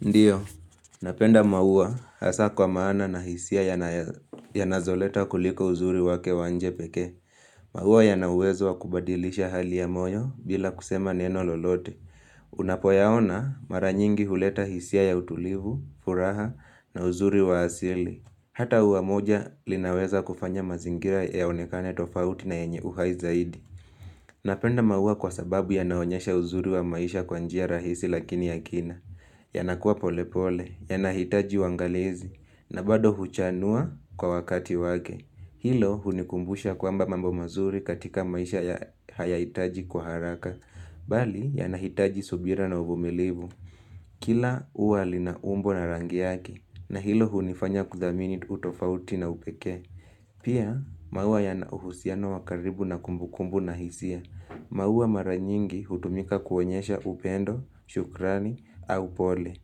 Ndio, napenda maua hasa kwa maana na hisia yanazoleta kuliko uzuri wake wa nje pekee. Maua yanauwezo wa kubadilisha hali ya moyo bila kusema neno lolote. Unapoyaona mara nyingi huleta hisia ya utulivu, furaha na uzuri wa asili. Hata ua moja linaweza kufanya mazingira yaonekane tofauti na yenye uhai zaidi. Napenda maua kwa sababu yanaonyesha uzuri wa maisha kwa njia rahisi lakini ya kina. Yanakuwa polepole, yanahitaji uangalizi, na bado huchanua kwa wakati wake. Hilo hunikumbusha kwamba mambo mazuri katika maisha haya hitaji kwa haraka. Bali, yanahitaji subira na uvumilivu. Kila ua lina umbo na rangi yake, na hilo hunifanya kudhamini utofauti na upekee. Pia, maua yanauhusiano wa karibu na kumbukumbu na hisia. Maua mara nyingi hutumika kuonyesha upendo, shukrani, au pole.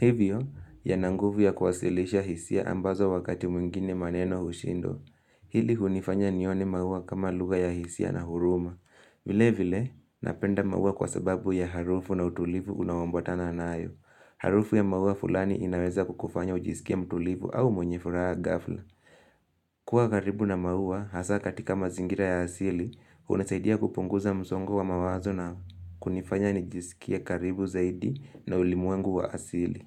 Hivyo, yananguvu ya kuwasilisha hisia ambazo wakati mwingine maneno hushindwa. Hili hunifanya nione maua kama luga ya hisia na huruma. Vile vile, napenda maua kwa sababu ya harufu na utulivu unaombotana nayo. Harufu ya maua fulani inaweza kukufanya ujisikie mtulivu au mwenye furaha gafla. Kuwa karibu na maua, hasa katika mazingira ya asili, unasaidia kupunguza msongo wa mawazo na kunifanya nijisikie karibu zaidi na ulimwengu wa asili.